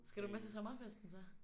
Skal du med til sommerfesten så?